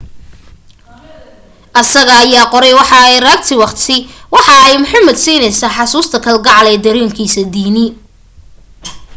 asaga ayaa qoray waxa ay raagti waqti waxa ay muhammed siineysa xasuusta kal gacal ee darenkisa diini